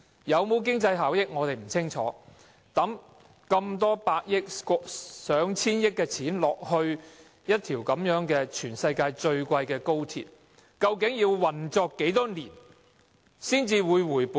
有否經濟效益，我們不清楚，但以過千億元興建一條全世界最昂貴的高鐵，究竟要運作多少年才能回本？